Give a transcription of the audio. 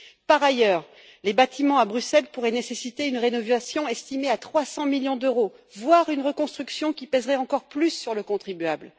Par ailleurs, les bâtiments à Bruxelles pourraient nécessiter une rénovation estimée à 300 millions d'euros, voire une reconstruction, qui pèserait encore plus sur le contribuable.